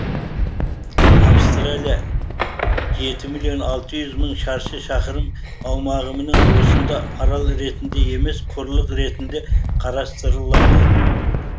австралия жеті миллион алты жүз мың шаршы шақырым аумағыменен осында арал ретінде емес құрлық ретінде қарастырылады